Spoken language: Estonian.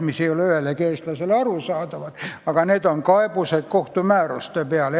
See sõna ei ole ühelegi eestlasele arusaadav, aga tegu on edasikaebusega kohtumääruse peale.